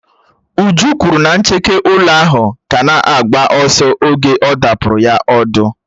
Uju kwuru na ncheke ụlọ ahụ ka na-agba ọsọ oge ọ̀ dàpuru ya ọ̀dú